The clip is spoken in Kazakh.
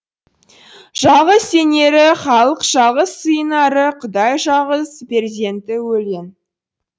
жалғыз сенері халық жалғыз сыйынары құдай жалғыз перзенті өлең